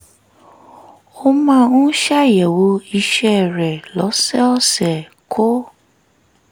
ó máa ń ṣàyẹ̀wò ìṣẹ́ rẹ̀ lọ́sọ̀ọ̀sẹ̀ kó